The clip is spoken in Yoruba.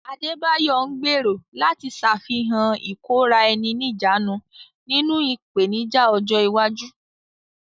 Adebayo ń gbèrò láti ṣàfihàn ìkóra-ẹni-níjàánu nínú ìpèníjà ọjọ́ iwájú.